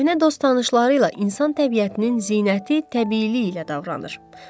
Köhnə dost-tanışları ilə insan təbiətinin zinəti təbiiliyi ilə davranır.